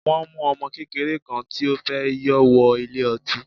Wọ́n mu ọmọ kékeré kan tí ó fẹ́ yọ wọ ilé ọtí.